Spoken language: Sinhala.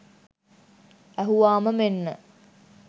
ඇහුවාම මෙන්න